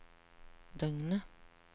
døgnet